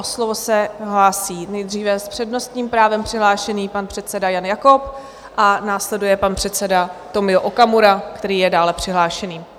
O slovo se hlásí nejdříve s přednostním právem přihlášený pan předseda Jan Jakob a následuje pan předseda Tomio Okamura, který je dále přihlášený.